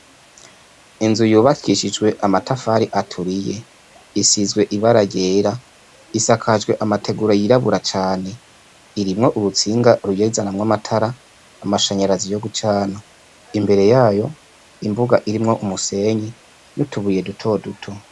Inzu yubakishijwe amatafari aturiye isizwe ibara ryera isakajwe amategura yirabura cane irimwo urutsinga ruyizanamwo amatara amashenyerazi yo gucana imbere yayo imbuga irimwo umusenyi n' utubuye duto duto.